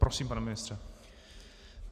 Prosím, pane ministře.